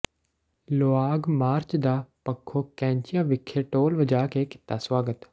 ਲੌ ਾਗ march ਦਾ ਪੱਖੋ ਕੈਂਚੀਆਂ ਵਿਖੇ ਢੋਲ ਵਜਾ ਕੇ ਕੀਤਾ ਸਵਾਗਤ